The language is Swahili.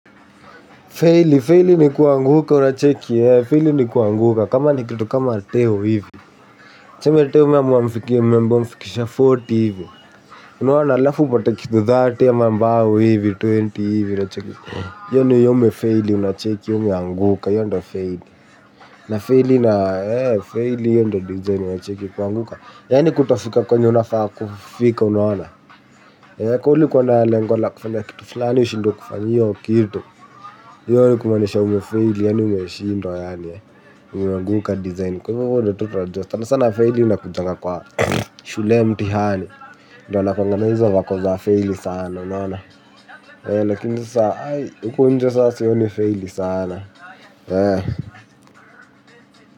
Feili, feili ni kuanguka unacheki eeh, feili ni kuanguka, kama ni kitu kama teo hivi, tuseme teo umeamua umfikie mmemba amfikisha arobaini hivi, unaona, alafu upate kitu thirty ama mbao hivi twenty hivi unacheki, hiyo ni hiyo umefeili unacheki hiyo umeanguka hiyo ndo feili na feili na feili hiyo ndo DJ unacheki kuanguka, yani kutofika kwenye unafaa kufika unaona. Kaa ulikuwa na lengo la kufanya kitu fulani ushindwe kufanya hiyo kitu. Hiyo ni kumaanisha umefeili yaani umeshindwa yaani. Umeanguka design. Kwa hivo wewe ndo tu utajua sana sana feili inakujanga kwa shule mtihani. Ndo wanakuanga na hizo vako za feili sana unaona. Lakinza sasa huko nje saa sioni feiili saana.